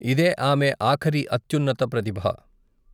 ఇదే ఆమె ఆఖరి అత్యున్నత ప్రతిభ.